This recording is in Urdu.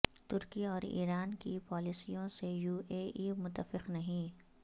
ترکی اور ایران کی پالیسیوں سے یو اے ای متفق نہیں